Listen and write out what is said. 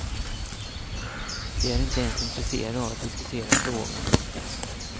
De är inte ens intresserade av att diskutera frågan.